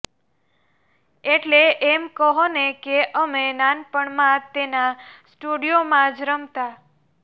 એટલે એમ કહોને કે અમે નાનપણમાં તેના સ્ટુડિયોમાં જ રમતા